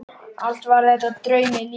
Allt var þetta draumi líkast.